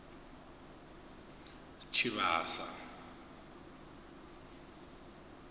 tshivhasa